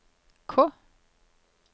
K